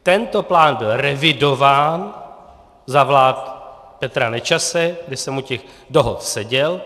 Tento plán byl revidován za vlád Petra Nečase, kdy jsem u těch dohod seděl.